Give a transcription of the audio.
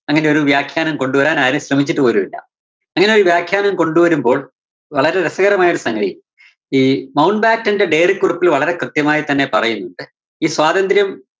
അങ്ങനെയൊരു വ്യാഖ്യാനം കൊണ്ടുവരാന്‍ ആരും ശ്രമിച്ചിട്ട് പോലുമില്ല. അങ്ങനൊരു വ്യാഖ്യാനം കൊണ്ടുവരുമ്പോള്‍, വളരെ രസകരമായൊരു സംഗതി ഈ മൗണ്ട് ബാറ്റന്റെ diary ക്കുറിപ്പില്‍ വളരെ കൃത്യമായി തന്നെ പറയുന്നുണ്ട് ഈ സ്വാതന്ത്രം